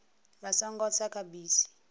vha songo tsa kha bisi